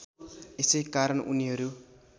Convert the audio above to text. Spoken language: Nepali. यसै कारण उनीहरू